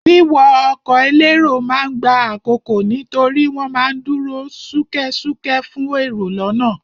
Wíwọ ọkọ̀ elérò ma ń gba àkókò nítorí wọ́n ma ń dúró ṣúkẹ́ṣúkẹ́ fún èrò lọ́nà.